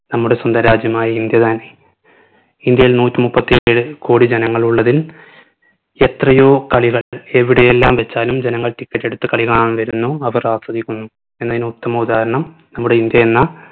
നമ്മുടെ സ്വന്തം രാജ്യമായ ഇന്ത്യ തന്നെ ഇന്ത്യയിൽ നൂറ്റി മുപ്പത്തേഴ് കോടി ജനങ്ങളുള്ളതിൽ എത്രയോ കളികൾ എവിടെയെല്ലാം വച്ചാലും ജനങ്ങൾ ticket എടുത്ത് കളികാണാൻ വരുന്നു അവർ ആസ്വദിക്കുന്നു എന്നതിന് ഉത്തമ ഉദാഹരണം നമ്മുടെ ഇന്ത്യ എന്ന